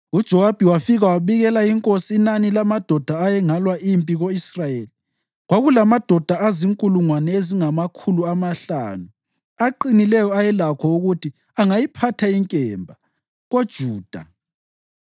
UJowabi wafika wabikela inkosi inani lamadoda ayengalwa empini: Ko-Israyeli kwakulamadoda azinkulungwane ezingamakhulu amahlanu aqinileyo ayelakho ukuthi angayiphatha inkemba, koJuda.